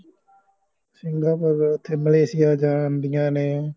Singapore ਓਥੇ Malaysia ਜਾਂਦੀਆਂ ਨੇ